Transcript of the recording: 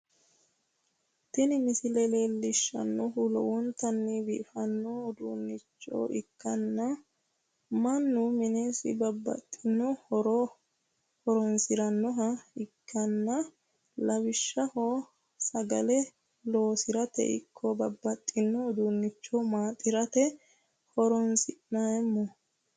Tini misile leellishshannohu lowontanni biifanno uduunnicho ikkanna, mannu minesi bababxxitino horora horonsi'rannoha ikkanna, lawishshaho sagale loosirate ikko babbaxxino uduunnicho maaxirate horonsi'neemmo.